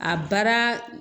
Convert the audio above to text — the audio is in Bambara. A baara